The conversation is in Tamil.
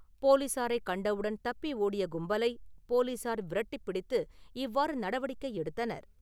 போலீசாரைக் கண்ட உடன் தப்பி ஓடிய கும்பலைப் போலீசார் விரட்டிப் பிடித்து இவ்வாறு நடவடிக்கை எடுத்தனர்.